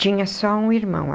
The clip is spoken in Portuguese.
Tinha só um irmão.